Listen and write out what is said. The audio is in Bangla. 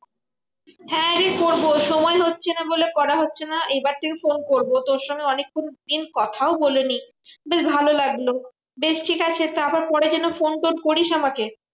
হ্যাঁ রে করবো সময় হচ্ছে না বলে করা হচ্ছে না। এইবার তোকে ফোন করবো। তোর সঙ্গে অনেকক্ষণ দিন কোথাও বলিনি। বেশ ভালো লাগলো। বেশ ঠিকাছে তা আবার পরে যেন ফোন টোন করিস আমাকে?